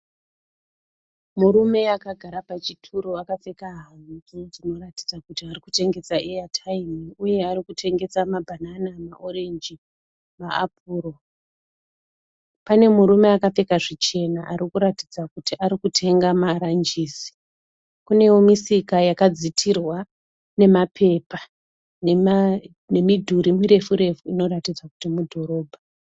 Murume akagara pachituro apfeka hanzu dzinoratidza kuti arikutengesa eyataimu uye arikutengesa mabhanana, maorenji maapuro. Pane murume akapfeka zvichena arikuratidza kuti arikutenga maranjisi. Kunewo misika yakadzitirwa nemapepa nemudhuri mirefu-refu inoratidza kuti mudhorobha.